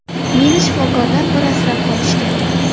Meni shifokorlar bir asrab qolishgan.